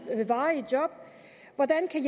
varigt job hvordan kan